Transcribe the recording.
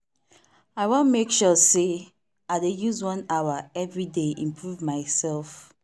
i wan make sure say i dey use one hour every day improve myself.